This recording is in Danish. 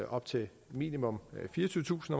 op til minimum fireogtyvetusind